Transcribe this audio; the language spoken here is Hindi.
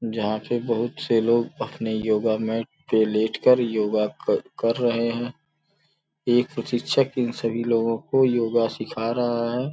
जहां पे बहुत से लोग अपने योगा मैट पे लेट कर योगा क कर रहे हैं एक प्रशिक्षक इन सभी लोगों को योगा सिखा रहा है।